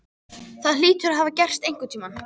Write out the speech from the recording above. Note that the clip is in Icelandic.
Það hlýtur að hafa gerst einhvern tíma.